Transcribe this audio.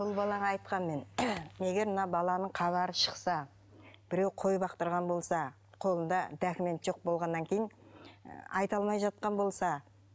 бұл балаға айтқанмын мен егер мына баланың хабары шықса біреу қой бақтырған болса қолында документ жоқ болғаннан кейін айта алмай жатқан болса